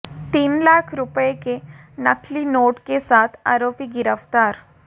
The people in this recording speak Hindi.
तीन लाख रुपये के नकली नोट के साथ आरोपी गिरफ्तार